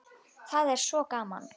Það er svo gaman.